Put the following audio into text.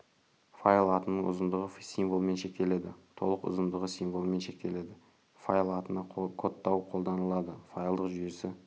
файл атының ұзындығы символмен шектеледі толық ұзындығы символмен шектеледі файл атына кодтауы қолданылады файлдық жүйесі